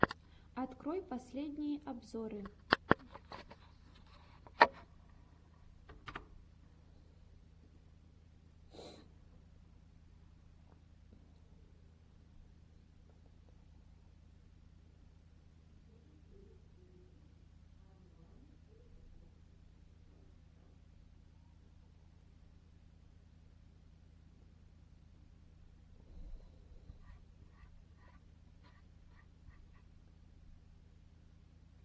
открой последние обзоры